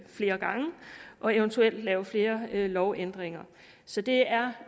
flere gange og eventuelt lave flere lovændringer så det er